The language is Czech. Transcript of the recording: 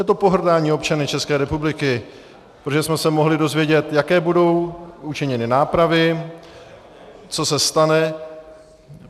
Je to pohrdání občany České republiky, protože jsme se mohli dozvědět, jaké budou učiněny nápravy, co se stane...